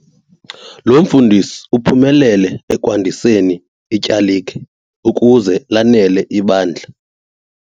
Lo mfundisi uphumelele ekwandiseni ityalike ukuze lanele ibandla.